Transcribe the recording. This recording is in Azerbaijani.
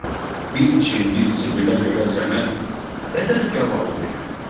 Bir çimdik zibilə görə sənə nə qədər gavalı verim?